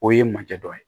O ye manjɛ dɔ ye